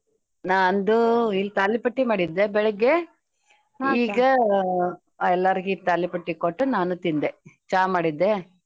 ನಾಂದು ಇಲ್ ತಾಲಿಪಟ್ಟಿ ಮಾಡಿದ್ದೆ ಬೆಳಗ್ಗೆ ಎಲ್ಲಾರಗೂ ತಾಲೀಪಟ್ಟಿ ಕೊಟ್ಟು ನಾನೂ ತಿಂದೆ ಚಾ ಮಾಡಿದ್ದೆ.